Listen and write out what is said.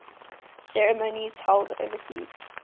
ceremonies held overseas